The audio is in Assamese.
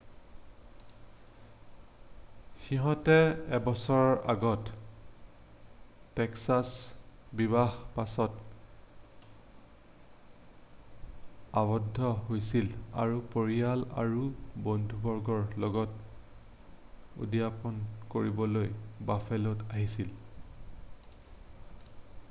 সিহঁতহালে এবছৰ আগত টেক্সাছত বিবাহ পাশত আৱদ্ধ হৈছিল আৰু পৰিয়াল আৰু বন্ধুবৰ্গৰ লগত উদযাপন কৰিবলৈ বাফেলোত আহিছিল